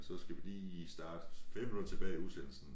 Så skal vi lige starte 5 minutter tilbage i udsendelsen